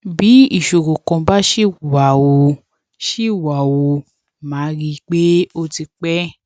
bí ìṣòro kan bá ṣì wà ó ṣì wà ó máa rí i pé ó ti pẹ